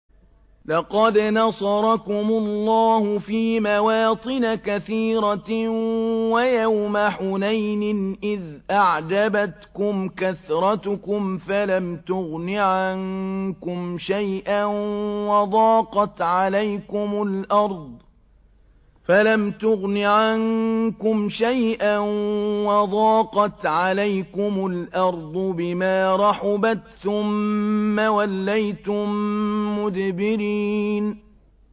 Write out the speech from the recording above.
لَقَدْ نَصَرَكُمُ اللَّهُ فِي مَوَاطِنَ كَثِيرَةٍ ۙ وَيَوْمَ حُنَيْنٍ ۙ إِذْ أَعْجَبَتْكُمْ كَثْرَتُكُمْ فَلَمْ تُغْنِ عَنكُمْ شَيْئًا وَضَاقَتْ عَلَيْكُمُ الْأَرْضُ بِمَا رَحُبَتْ ثُمَّ وَلَّيْتُم مُّدْبِرِينَ